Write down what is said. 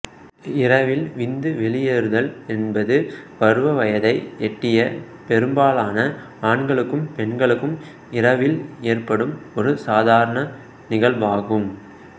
இரவில் விந்து வெளியேறுதல் என்பது பருவ வயதை எட்டிய பெரும்பாலான ஆண்களுக்கும் பெண்களுக்கும் இரவில் ஏற்படும் ஒரு சாதாரண நிகழ்வாகும்